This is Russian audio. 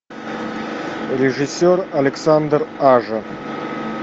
режиссер александр ажа